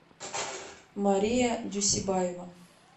мария дюсебаева